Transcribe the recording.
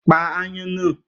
Pa aáyán náà